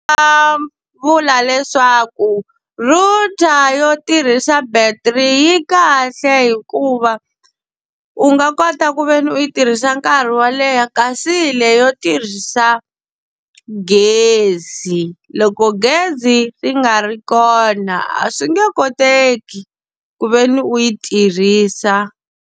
Vula leswaku router yo tirhisa battery yi kahle hikuva, u nga kota ku ve ni u yi tirhisa nkarhi wo leha. Kasi leyi yo tirhisa gezi loko gezi ri nga ri kona a swi nge koteki ku ve ni u yi tirhisa.